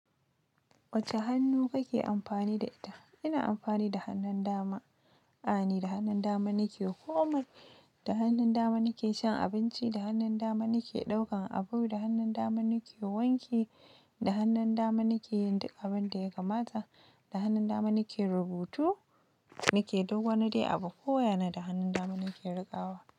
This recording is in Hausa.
Wace hannu kake amfani da ita? Ina amfani da hannun dama. A'a ni da hannun dama nike komai, da hannun dama nike shan abinci, da hannun dama nike ɗaukan abu, da hannun dama nike wanki, da hannun dama nike yin duk abun da ya kamata, da hannun dama nike rubutu, nike duk wani dai abu ko waya na da hannun dama nake riƙawa.